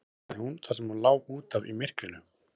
svaraði hún þar sem hún lá út af í myrkrinu.